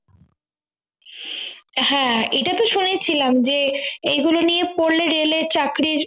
হ্যাঁ এটাতো শুনেছিলাম যে এই গুলো নিয়ে পড়লে railway র চাকরির